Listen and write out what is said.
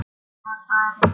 Gamla farið.